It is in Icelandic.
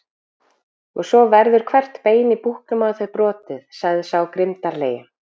Og svo verður hvert bein í búknum á þér brotið, sagði sá grimmdarlegi.